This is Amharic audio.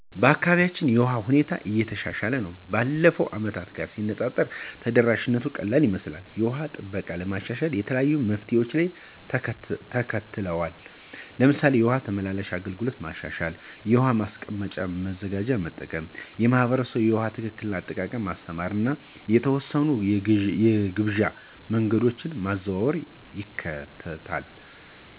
በአካባቢዬ የውሃ ሁኔታ እየተሻሻለ ነው፣ ከባለፉት ዓመታት ጋር ሲነፃፀር ተደራሽነቱ ቀላል ይመስላል። የውሃ ጥበቃን ለማሻሻል የተለያዩ መፍትሄዎች ተከትለዋል፤ ለምሳሌ የውሃ ተመላላሽ አገልግሎትን ማሻሻል፣ ውሃ ማስቀመጫ መዘጋጃ መጠቀም፣ ማኅበረሰቡን ለውሃ ትክክለኛ አጠቃቀም ማስተማር እና የተወሰኑ የግብዣ መንገዶችን ማዘዋወር ይካተታሉ።